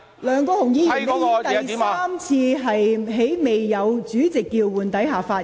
梁國雄議員，你已第三次在未經主席叫喚下發言。